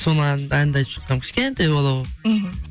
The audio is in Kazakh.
соны әнді айтып шыққанмын кішкентай бала болып мхм